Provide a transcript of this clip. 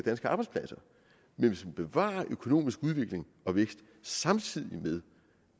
bevare økonomisk udvikling og vækst samtidig med